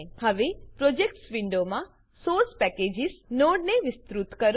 હવે પ્રોજેક્ટ્સ વિન્ડોમાં source packages નોડને વિસ્તૃત કરો